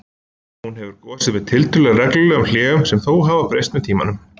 Hún hefur gosið með tiltölulega reglulegum hléum sem hafa þó breyst með tímanum.